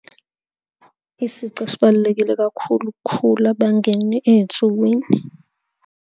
Isici esibalulekile kakhulu ukukhula, bangene ey'nsukwini.